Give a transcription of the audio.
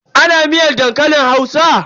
Ana miyar dankalin Hausa?